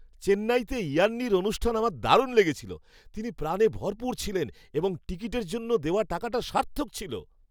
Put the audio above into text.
চেন্নাইতে ইয়ান্নির অনুষ্ঠান আমার দারুণ লেগেছিল। তিনি প্রাণে ভরপুর ছিলেন এবং টিকিটের জন্য দেওয়া টাকাটা সার্থক ছিল।